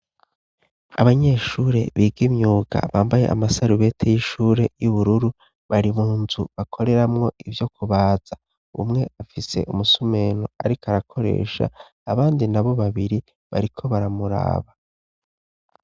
Abanyeshure bigimyuka bambaye amasarubete y'ishure y'u bururu bari mu nzu bakoreramwo ivyo kubaza umwe afise umusumeno, ariko arakoresha abandi na bo babiri bariko baramuraba.